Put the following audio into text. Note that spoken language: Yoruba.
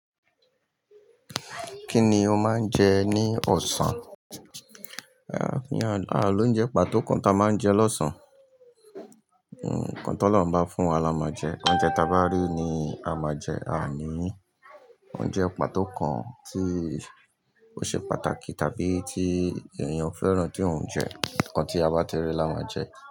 Kí ni o máa ń jẹ ní ọ̀sán? A ló ń jẹ pàtó kan tí a máa ń jẹ lọ́sàn-án. Nǹkan tó olọ́run bá fún wa la máa jẹ. Oúnjẹ tí a bá rí ni a máa jẹ. A ní òunjẹ pàtó kan tí ó ṣe pàtàkì tàbí tí ènìyàn fẹ́ràn tí òun ń jẹ. Nǹkan tí a bá ti rí la máa jẹ.